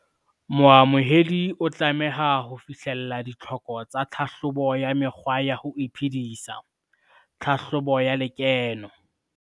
Moamohedi o tlameha ho fihlella ditlhoko tsa tlhahlobo ya mekgwa ya ho iphedisa, tlhahlobo ya lekeno.